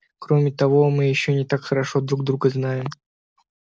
кроме того мы ещё не так хорошо друг друга знаем